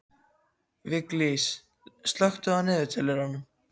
Viglís, slökktu á niðurteljaranum.